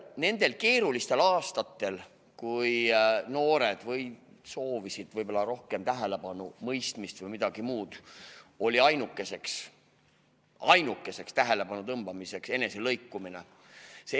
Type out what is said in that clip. Nendel keerulistel aastatel, kui noored soovivad rohkem tähelepanu, mõistmist või midagi muud, on ainuke võimalus tähelepanu tõmmata eneselõikumine.